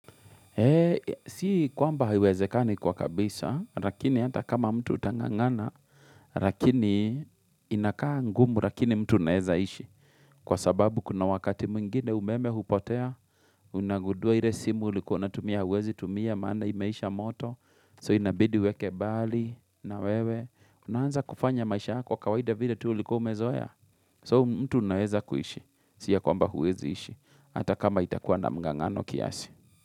Si kwamba haiwezekani kwa kabisa, lakini hata kama mtu utan'gang'ana, lakini inakaa ngumu lakini mtu unaweza ishi. Kwa sababu kuna wakati mwingine umeme hupotea, unagudua ile simu ulikuona tumia, huwezi tumia, maana imeisha moto, so inabidi weke bali na wewe. Unaanza kufanya maisha yako kwa kawaida vile tuu ulikuwa umezoea, so mtu unaeza kuishi. Si kwamba huwezi ishi, hata kama itakuwa na mg'ang'ano kiasi.